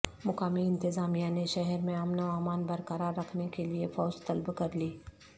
مقامی انتظامیہ نے شہر میں امن و امان برقرار رکھنے کےلئے فوج طلب کرلی